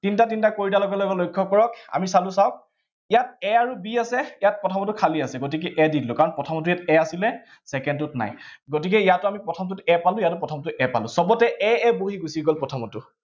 তিনটা তিনটা কৰি দিয়াৰ লগে লগে আপোনালোকে লক্ষ্য কৰক, আমি চালো চাওঁক, ইয়াত a আৰু b আছে, ইয়াত প্ৰথমতে খালী আছে, গতিকে a দি দিলো কাৰন প্ৰথমতে ইয়াত a আছিলে, second টোত নাই। গতিকে ইয়াতো আমি প্ৰথমটোত a পালো, ইয়াতো প্ৰথমটোত a পালো, সৱতে a a বহি গুছি গল প্ৰথমটো